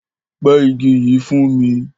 Pẹ ìgi yi fún mi!